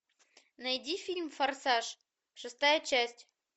найди фильм форсаж шестая часть